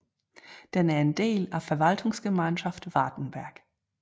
Den er en del af Verwaltungsgemeinschaft Wartenberg